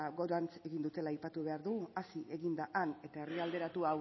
gorantz egin dutela aipatu behar dugu hazi egin da han eta